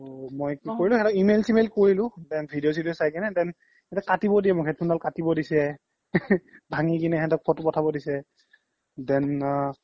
মই কি কৰিলো সিহ্তক email চিমেল কৰিলো then video চিদিও চাই কিনে then সিহ্তে কাতিব দিয়ে মোক headphone দাল কাতিব দিছে ভাঙি কিনে সেহ্তক photo পথাব দিছে then আ